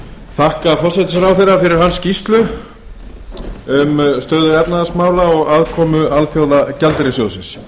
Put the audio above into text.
þakka forsætisráðherra fyrir hans skýrslu um stöðu efnahagsmála og aðkomu alþjóðagjaldeyrissjóðsins